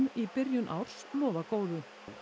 í byrjun árs lofa góðu